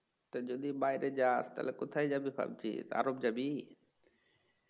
তা যদি বাইরে যাস তাহলে কোথায় যাবি ভাবছিস আরব যাবি?